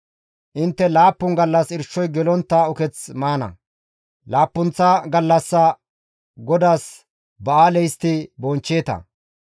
Intte laappun gallas irshoy gelontta uketh maana; laappunththa gallas GODAAS ba7aale histti bonchcheeta.